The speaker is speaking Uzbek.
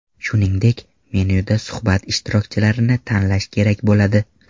Shuningdek, menyuda suhbat ishtirokchilarini tanlash kerak bo‘ladi.